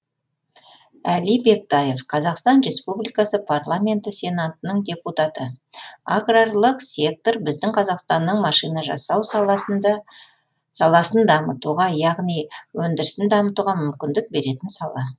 әли бектаев қазақстан республикасы парламенті сенатының депутаты аграрлық сектор біздің қазақстанның машина жасау саласындамытуға яғни өндірісін дамытуға мүмкіндік беретін сала